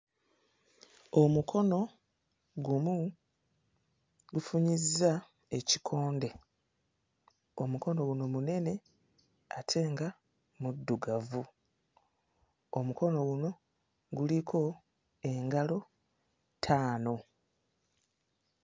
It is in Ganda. Omukono gumu gufunyizza ekikonde, omukono guno munene ate nga muddugavu, omukono guno guliko engalo ttaano.